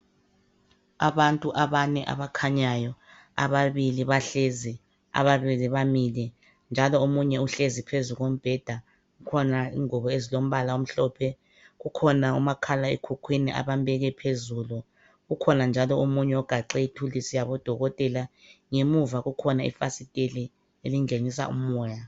Abantu abane abakhanyayo ababili bahlezi ababili bamile njalo omunye uhlezi phezu kombheda kukhona ingubo ezilombala omhlophe kukhona umakhalekhukhwini abambeke phezulu kukhona omunye ogaxe ithuluzi yabodokotela ngemuva kukhona ifasiteli elingenisa umoya.